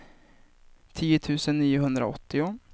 tio tusen niohundraåttio